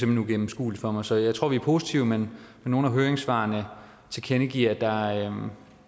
hen uigennemskueligt for mig så jeg tror at vi er positive men nogle af høringssvarene tilkendegiver at